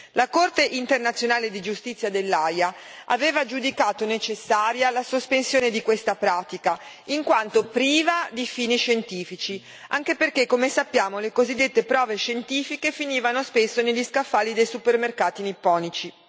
La Corte internazionale di giustizia dell'Aia aveva giudicato necessaria la sospensione di questa pratica, in quanto priva di fini scientifici, anche perché, come sappiamo, le cosiddette prove scientifiche finivano spesso negli scaffali dei supermercati nipponici.